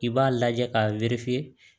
I b'a lajɛ k'a